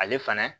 Ale fana